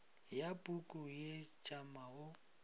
ya puku ye tšama o